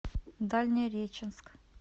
дальнереченск